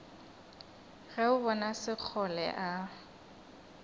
ge o bona sekgole a